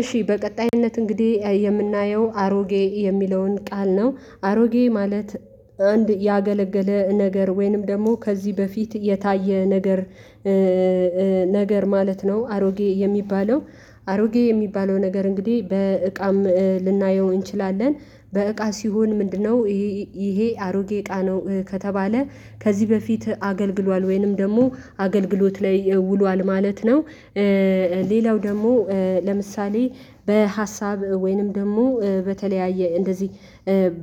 እሺ በቀጣይነት እንግዲህ የምናየው አሮጌ የሚለውን ቃል ነው አሮጌ ማለት አንድ ያገለገለ ነገር ወይንም ደግሞ ከዚህ በፊት የታየ ነገር ነገር ማለት ነው አሮጌ የሚባለው። አሮጌ የሚባለው ነገር እንግዲህ በእቃም ልናየው እንችላለን በእቃ ሲሆን ምንድነው ይሄ ይሄ አሮጌ እቃ ነው ከተባለ ከዚህ በፊት አገልግሏል ወይንም ደግሞ አገልግሎት ላይ ውሏል ማለት ነው። ሌላው ደግሞ ለምሳሌ በሀሳብ ወይንም ደግሞ በተለያየ እንደዚህ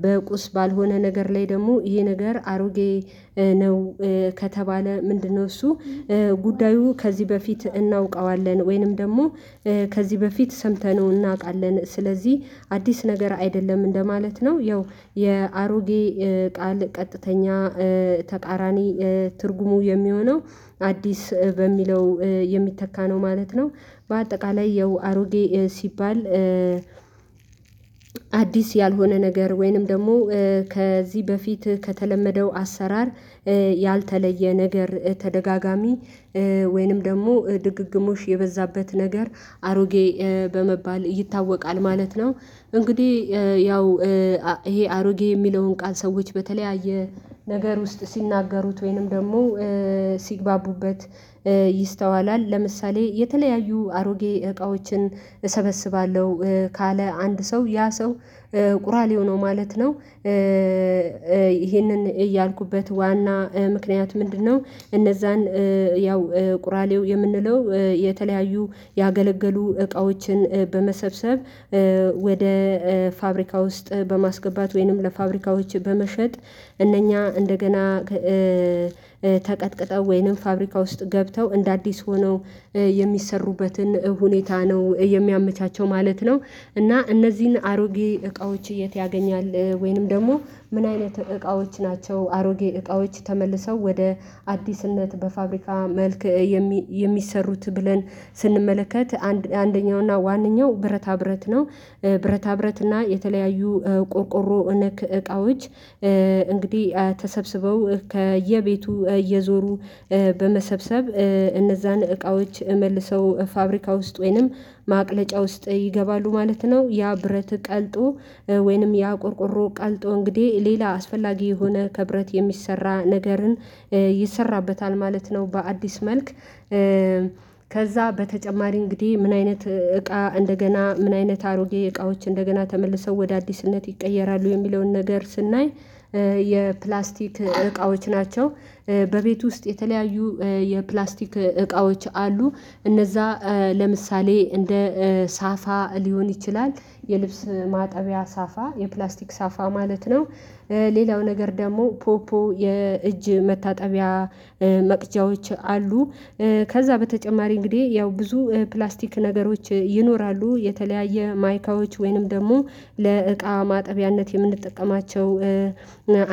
በቁስ ባልሆነ ነገር ላይ ደግሞ ይሄ ነገር አሮጌ ነው ከተባለ ምንድነው እሱ ጉዳዩ ከዚህ በፊት እናውቀዋለን ወይንም ደግሞ ከዚህ በፊት ሰምተነው እናውቃለን ስለዚህ አዲስ ነገር አይደለም እንደማለት ነው። ያው የአሮጌ ቃል ቀጥተኛ ተቃራኒ ትርጉሙ የሚሆነው አዲስ በሚለው የሚተካ ነው ማለት ነው። በአጠቃላይ ያው አሮጌ ሲባል አዲስ ያልሆነ ነገር ወይንም ደግሞ ከዚህ በፊት ከተለመደው አሰራር ያልተለየ ነገር ተደጋጋሚ ወይንም ደግሞ ድግግሞች የበዛበት ነገር አሮጌ በመባል ይታወቃል ማለት ነው። እንግዲህ ያው ይሄ አሮጌ የሚለውን ቃል ሰዎች በተለያየ ነገር ውስጥ ሲናገሩት ወይንም ደግሞ ሲግባቡበት ይስተዋላል ለምሳሌ የተለያዩ አሮጌ እቃዎችን እሰበስባለሁ ካለ አንድ ሰው ያ ሰው ቁራሌው ነው ማለት ነው። ይሄንን ያልኩበት ዋና ምክንያት ምንድነው? እነዛን ያው ቁራሌው የምንለው የተለያዩ ያገለገሉ እቃዎችን በመሰብሰብ ወደ ፋብሪካ ውስጥ በማስገባት ወይንም ለፋብሪካዎች በመሸጥ እነኛ እንደገና ተቀጥቅጠው ወይንም ፋብሪካ ውስጥ ገብተው እንደ አዲስ ሆነው የሚሰሩበትን ሁኔታ ነው የሚያመቻቸው ማለት ነው። እና እነዚህን አሮጌ እቃዎች የት ያገኛል ወይንም ደግሞ ምን አይነት እቃዎች ናቸው አሮጌ እቃዎች ተመልሰው ወደ አዲስነት በፋብሪካ መልክ የም የሚሰሩት ብለን ስንመለከት አንደኛው እና ዋነኛው ብረታ ብረት ነው ብረታ ብረት እና የተለያዩ ቆርቆሮ ነክ እቃዎች እንግዲህ ተሰብስበው ከየቤቱ እየዞሩ በመሰብሰብ እነዛን እቃዎች መልሰው ፋብሪካ ውስጥ ወይንም ማቅለጫ ውስጥ ይገባሉ ማለት ነው ያ ብረት ቀልጦ ወይንም ያ ቆርቆሮ ቀልጦ እንግዲህ ሌላ አስፈላጊ የሆነ ከብረት የሚሰራ ነገርን ይሰራበታል ማለት ነው። በአዲስ መልክ ከዛ በተጨማሪ እንግዲህ ምን አይነት እቃ እንደገና ምን አይነት አሮጌ እቃዎች እንደገና ተመልሰው ወደ አዲስነት ይቀየራሉ የሚለውን ነገር ስናይ የፕላስቲክ እቃዎች ናቸው በቤቱ ውስጥ የተለያዩ የፕላስቲክ እቃዎች አሉ እነዛ ለምሳሌ እንደ ሳፋ ሊሆን ይችላል የልብስ ማጠቢያ ሳፋ የፕላስቲክ ሳፋ ማለት ነው። ሌላው ነገር ደግሞ ፖፖ የእጅ መታጠቢያ መቅጃዎች አሉ ከዛ በተጨማሪ እንግዲህ ያው ብዙ ፕላስቲክ ነገሮች ይኖራሉ የተለያየ ማይካዎች ወይንም ደግሞ ለእቃ ማጠቢያነት የምንጠቀማቸው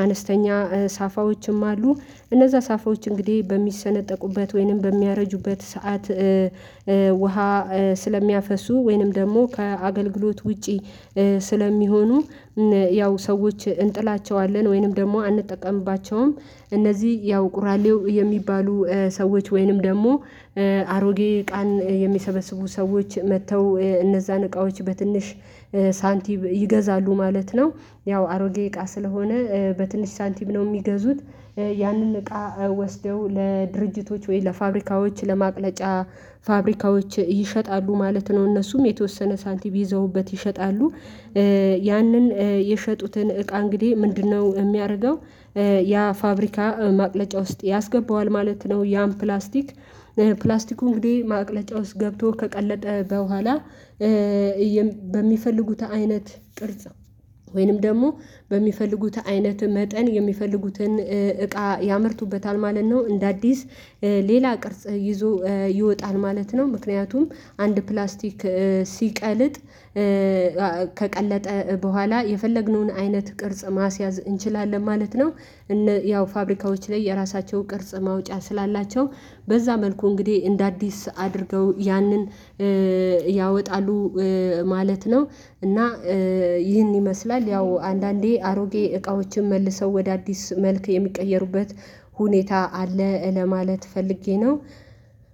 አነስተኛ ሳፋዎችም አሉ እነዛ ሳፋዎች እንግዲህ በሚሰነጠቁበት ወይንም በሚያረጁበት ሰዓት ውሃ ስለሚያፈሱ ወይንም ደግሞ ከአገልግሎት ውጪ ስለሚሆኑ ያው ሰዎች እንጥላቸዋለን ወይንም ደግሞ አንጠቀምባቸውም። እነዚህ ያው ቁራሌው የሚባሉ ሰዎች ወይንም ደግሞ አሮጌ እቃን የሚሰበስቡ ሰዎች መጥተው እነዛን እቃዎች በትንሽ ሳንቲም ይገዛሉ ማለት ነው። ያው አሮጌ እቃ ስለሆነ በትንሽ ሳንቲም ነው የሚገዙት ያንን እቃ ወስደው ለድርጅቶች ወይም ለፋብሪካዎች ለማቅለጫ ፋብሪካዎች ይሸጣሉ ማለት ነው እነሱም የተወሰነ ሳንቲም ይዘውበት ይሸጣሉ። ያንን የሸጡትን እቃ እንግዲህ ምንድነው የሚያደርገው? ያ ፋብሪካ ማቅለጫ ውስጥ ያስገባዋል ማለት ነው ያን ፕላስቲክ ፕላስቲኩ እንግዲህ ማቅለጫ ውስጥ ገብቶ ከቀለጠ በኋላ በሚፈልጉት አይነት ቅርጽ ወይንም ደግሞ በሚፈልጉት አይነት መጠን የሚፈልጉትን እቃ ያመርቱበታል ማለት ነው። እንደ አዲስ ሌላ ቅርጽ ይዞ ይወጣል ማለት ነው ምክንያቱም አንድ ፕላስቲክ ሲቀልጥ ከቀለጠ በኋላ የፈለግነውን አይነት ቅርጽ ማስያዝ እንችላለን ማለት ነው። እነ ያው ፋብሪካዎች ላይ የራሳቸው ቅርጽ ማውጫ ስላላቸው በዛ መልኩ እንግዲህ እንደ አዲስ አድርገው ያንን ያወጣሉ ማለት ነው። እና ይህን ይመስላል ያው አንዳንዴ አሮጌ እቃዎችን መልሰው ወደ አዲስ መልክ የሚቀየሩበት ሁኔታ አለ ለማለት ፈልጌ ነው።